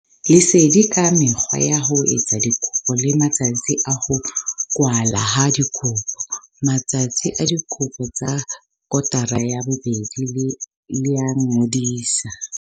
Lesedi ka mekgwa ya ho etsa dikopo le matsatsi a ho kwalwa ha dikopo. Matsatsi a dikopo tsa kotara ya bobedi le a ngodiso.